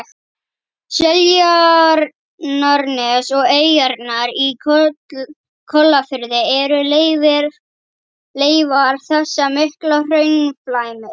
Seltjarnarnes og eyjarnar í Kollafirði eru leifar þessa mikla hraunflæmis.